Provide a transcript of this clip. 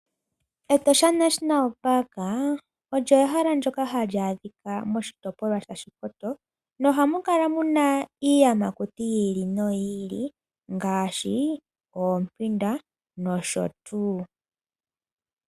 Etosha National Park olyo ehala ndoka hali adhikwa moshitopolwa sha Shikoto, nohamu kala muna iiyamakuti yi ili noyi ili, ngaashi ompinda nosho tuu.